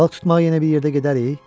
Balıq tutmağa yenə bir yerdə gedərik?